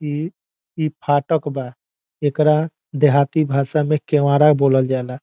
इ इ फाटक बा एकरा देहाती भाषा में केवड़ा बोलल जाला।